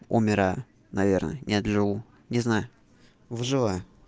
умираю наверное нет живу не знаю выживаю